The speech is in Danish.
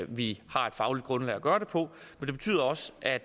vi har et fagligt grundlag at gøre det på og det betyder også at